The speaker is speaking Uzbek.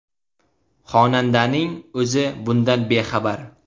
Xonandaning o‘zi bundan bexabar.